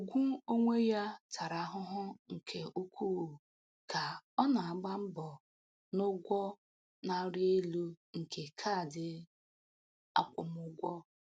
Ugwu onwe ya tara ahụhụ nke ukwuu ka ọ na-agba mbọ n´ụgwọ na-arị elu nke kaadị akwụmụgwọ.